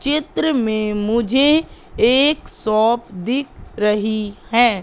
चित्र में मुझे एक सॉप दिख रही है।